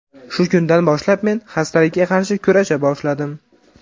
Shu kundan boshlab men xastalikka qarshi kurasha boshladim.